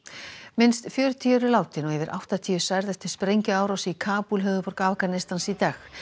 minnst fjörutíu eru látin og yfir áttatíu særð eftir sprengjuárás í Kabúl höfuðborg Afganistans í dag